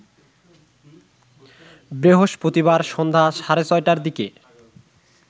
বৃহস্পতিবার সন্ধ্যা সাড়ে ৬টার দিকে